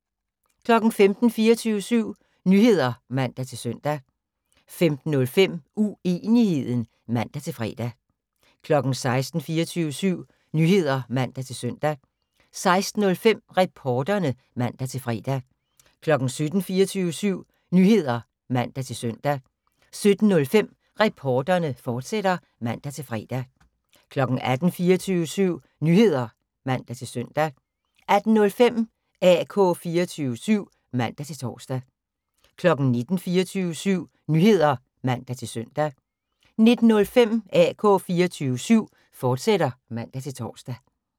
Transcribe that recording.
15:00: 24syv Nyheder (man-søn) 15:05: Uenigheden (man-fre) 16:00: 24syv Nyheder (man-søn) 16:05: Reporterne (man-fre) 17:00: 24syv Nyheder (man-søn) 17:05: Reporterne, fortsat (man-fre) 18:00: 24syv Nyheder (man-søn) 18:05: AK 24syv (man-tor) 19:00: 24syv Nyheder (man-søn) 19:05: AK 24syv, fortsat (man-tor)